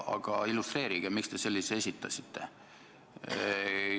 Aga illustreerige seda, miks te sellise esitasite.